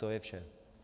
To je vše.